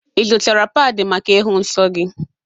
Ị zụtara padi maka ịhụ nsọ gị?